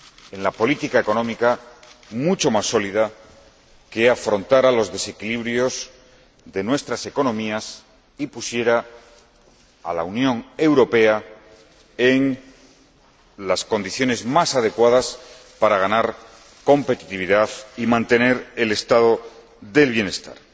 en la política económica mucho más sólida, que afrontara los desequilibrios de nuestras economías y pusiera a la Unión Europea en las condiciones más adecuadas para ganar competitividad y mantener el estado del bienestar.